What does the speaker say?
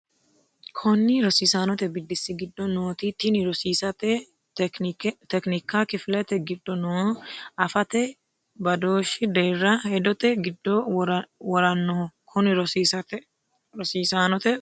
Konni rosiisaanote biddissi giddo nooti tini rosiisate tekinikka kifilete giddo noo afate badooshshi deerra hedote giddo worannoho Konni rosiisaanote Konni.